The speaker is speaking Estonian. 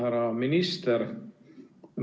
Härra minister!